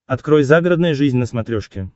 открой загородная жизнь на смотрешке